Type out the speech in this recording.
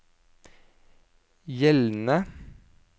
gjeldende